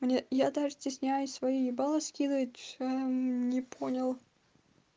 мне я даже стесняюсь своё ебалы скидывать не понял